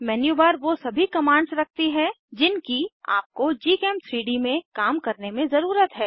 menu bar वो सभी commands रखती है जिनकी आपको gchem3डी में काम करने में ज़रुरत है